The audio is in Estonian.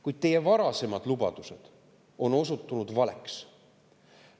Kuid teie varasemad lubadused on osutunud valeks.